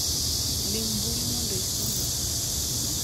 Lim mbui no mondo isom mathoth